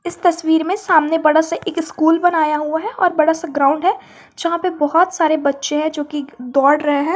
इस तस्वीर में सामने बाद से एक स्कूल बनाया हुआ है और बड़ा सा ग्राउंड है जहां पे बहुत सारे बच्चे हैं जोकि दौड़ रहे हैं।